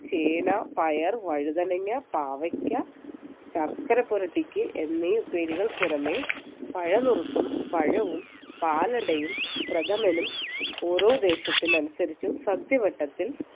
ചേന പയർ വഴുതനങ്ങ പാവയ്ക്ക ശർക്കര പുരട്ടിക്ക് എന്നീ ഉപ്പേരികൾക്ക് പുറമേ പഴം നുറുക്കും പഴവും പാലടയും പ്രഥമനും ഓരോ ദേശത്തിനു അനുസരിച്ച് സദ്യവട്ടത്തിൽ